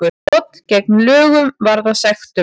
Brot gegn lögunum varða sektum